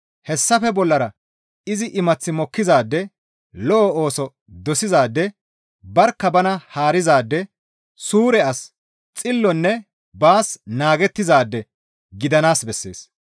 Hessafe bollara izi imath mokkizaade, lo7o ooso dosizaade, barkka bana haarizaade, suure as, xillonne baas naagettizaade gidanaas bessees.